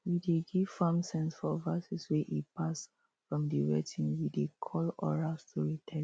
we dey give farm sense for verses wey e pass from the weting we dey call oral storytelling